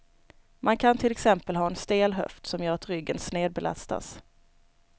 Man kan till exempel ha en stel höft som gör att ryggen snedbelastas.